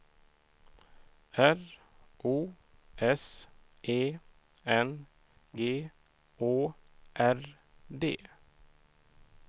R O S E N G Å R D